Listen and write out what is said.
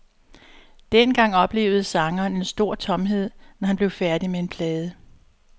Dengang oplevede sangeren en stor tomhed, når han blev færdig med en plade.